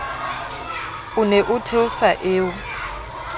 o ne o theosa eo